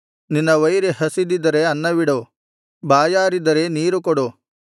ನಿನ್ನ ವೈರಿ ಹಸಿದಿದ್ದರೆ ಅನ್ನವಿಡು ಬಾಯಾರಿದ್ದರೆ ನೀರುಕೊಡು